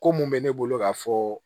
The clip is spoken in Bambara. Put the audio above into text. Ko mun bɛ ne bolo k'a fɔ